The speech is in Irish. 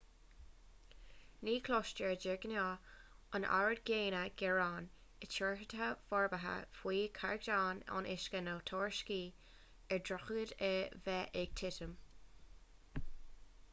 ni chloistear de ghnáth an oiread céanna gearán i dtíortha forbartha faoi chaighdeán an uisce nó tuairiscí ar dhroichid a bheith ag titim